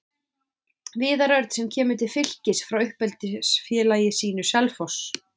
Viðar Örn sem kemur til Fylkis frá uppeldisfélagi sínu, Selfoss.